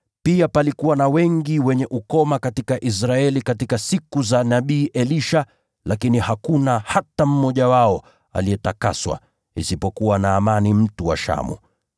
Pia palikuwa na wengi wenye ukoma katika Israeli katika siku za nabii Elisha, lakini hakuna hata mmoja wao aliyetakaswa, isipokuwa Naamani mtu wa Shamu.”